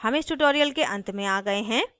हम इस tutorial के अंत में आ गए हैं